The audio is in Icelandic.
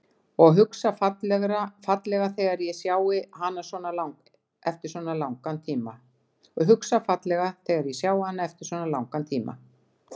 Og hugsa fallega þegar ég sjái hana eftir svona langan tíma.